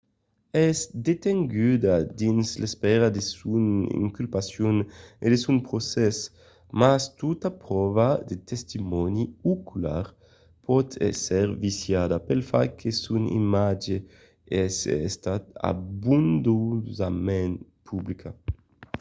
es detenguda dins l'espèra de son inculpacion e de son procès mas tota pròva de testimòni ocular pòt èsser viciada pel fach que son imatge es estat abondosament publicat